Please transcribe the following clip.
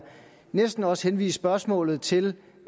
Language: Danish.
næsten også henvise spørgsmålet til